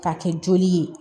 K'a kɛ joli ye